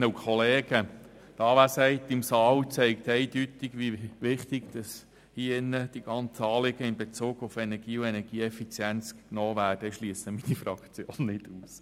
Die Anwesenheit im Saal zeigt eindeutig, wie wichtig hier drin die ganzen Anliegen in Bezug auf Energie und Energieeffizienz genommen werden – ich schliesse meine Fraktion davon nicht aus.